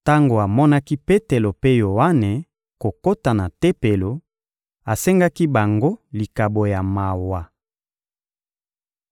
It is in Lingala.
Tango amonaki Petelo mpe Yoane kokota na Tempelo, asengaki bango likabo ya mawa.